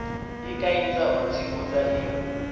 i kaidza u tsivhudza i